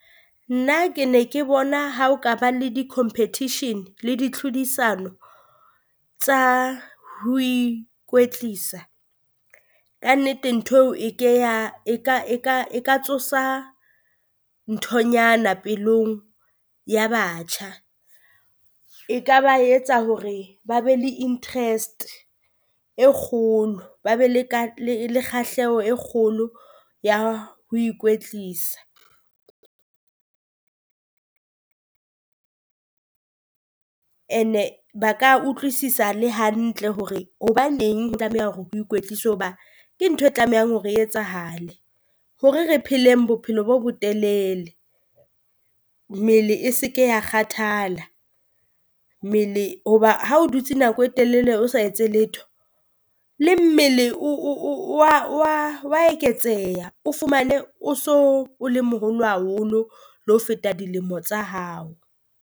Nna ke ne ke bona ha o ka ba le di competition le di tlhodisano tsa ho ikwetlisa, kannete ntho eo e ke ya e ka e ka e ka tsosa nthonyana pelong ya batjha, e ka ba etsa hore ba be le interest e kgolo, ba be le le kgahleho e kgolo ya ho ikwetlisa. And-e ba ka utlwisisa le hantle hore hobaneng ho tlameha hore ho ikwetliswe o hoba ke ntho e tlamehang hore e etsahale hore re pheleng bophelo bo botelele. Mele e se ke ya kgathala mele hoba ha o dutse nako e telele o sa etse letho le mmele o wa wa wa eketseha. O fumane o so o le moholo haholo le ho feta dilemo tsa hao.